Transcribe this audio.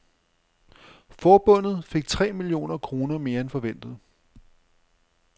Forbundet fik tre millioner kroner mere end forventet.